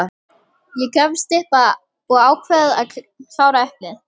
Ég gafst upp og ákvað að klára eplið.